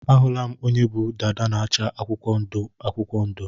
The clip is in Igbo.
A hụla m onye bụ dàdá na-acha akwụkwọ ndụ akwụkwọ ndụ.